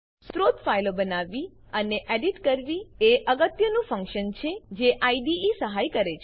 સ્ત્રોત ફાઈલો બનાવવી અને એડીટ કરવી એ અગત્યનું ફંક્શન છે જે આઈડીઈ સહાય કરે છે